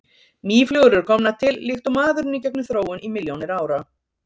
Mýflugur eru komnar til líkt og maðurinn í gegnum þróun í milljónir ára.